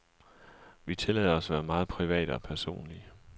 Vi tillader os at være meget private og personlige.